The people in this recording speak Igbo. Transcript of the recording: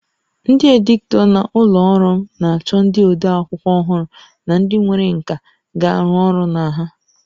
Ndị editọ na ụlọ ọrụ m na-achọ ndị ode akwụkwọ ọhụrụ na ndị nwere nkà ga-arụ ọrụ na ha